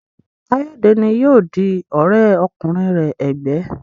Kayode ní yóò dì òré kùnrin rẹ ègbé.